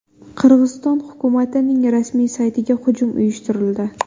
Qirg‘iziston hukumatining rasmiy saytiga hujum uyushtirildi.